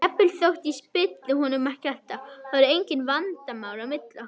Jafnvel þótt ég spili honum ekki alltaf, þá eru engin vandamál á milli okkar.